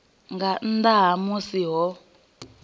nga nnḓa ha musi ho